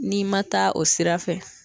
N'i ma taa o sira fɛ